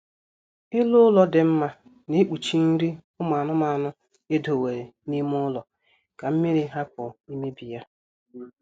Elu ụlọ dị mma na-ekpuchi nri ụmụ anụ edowere n'ime ụlọ ka mmiri hapụ imebi ya